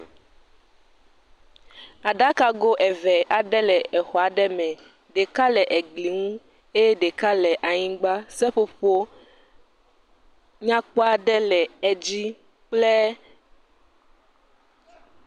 Aɖakago eve aɖe le exɔ aɖe me. ɖeka le egli ŋu. Eye ɖeka le anyigba. Seƒoƒo nyakpɔ aɖe le edzi kple.